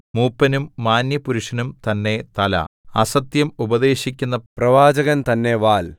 മൂപ്പനും മാന്യപുരുഷനും തന്നെ തല അസത്യം ഉപദേശിക്കുന്ന പ്രവാചകൻ തന്നെ വാൽ